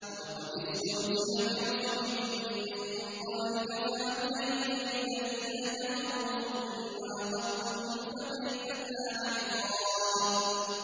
وَلَقَدِ اسْتُهْزِئَ بِرُسُلٍ مِّن قَبْلِكَ فَأَمْلَيْتُ لِلَّذِينَ كَفَرُوا ثُمَّ أَخَذْتُهُمْ ۖ فَكَيْفَ كَانَ عِقَابِ